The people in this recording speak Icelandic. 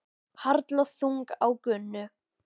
Harla þung á Gunnu.